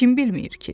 Kim bilmir ki?